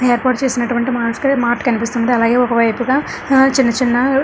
ఏర్పాటు చేసినటువంటి మార్ట్ కనిపిస్తుంది అలాగే ఒక వైపుగా ఆ చిన్న చిన్న --